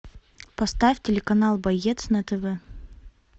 поставь телеканал боец на тв